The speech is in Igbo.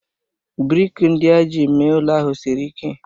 brik ndị e ji mee ụlọ ahụ siri ike